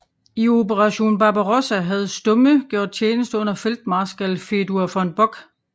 I Operation Barbarossa havde Stumme gjort tjeneste under feltmarskal Fedor von Bock